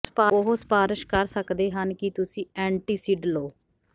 ਉਹ ਸਿਫਾਰਸ਼ ਕਰ ਸਕਦੇ ਹਨ ਕਿ ਤੁਸੀਂ ਐਂਟੀਸਿਡ ਲਓ